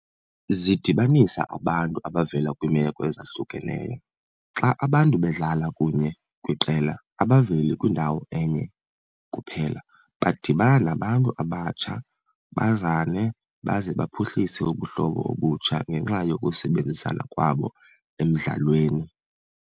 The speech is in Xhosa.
Zidibanisa abantu abavela kwiimeko ezahlukeneyo. Xa abantu bedlala kunye kwiqela abaveli kwindawo enye kuphela, badibana nabantu abatsha bazane baze baphuhlise ubuhlobo obutsha ngenxa yokusebenzisana kwabo emdlalweni.